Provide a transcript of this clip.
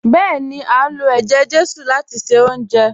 Bẹ́ẹ̀ni, a ń lo ẹjẹ-jesu láti ṣe oúnjẹ